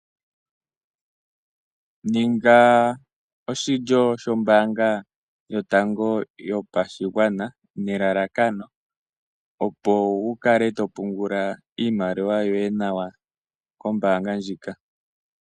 Kala oshilyo shombaanga yotango yopashigwana nelalakano opo wu kale to pungula iimaliwa yoye nawa kombaanga ndjika.